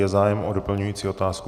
Je zájem o doplňující otázku?